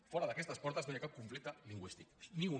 fora d’aquestes portes no hi ha cap conflicte lingüístic ni un